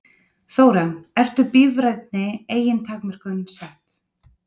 Þóra: Eru bíræfinni engin takmörk sett?